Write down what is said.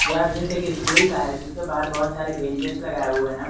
यह दृश्य एक स्कूल का है जिसके बाहर बहुत सारी बेंचेज लगाए हुए हैं।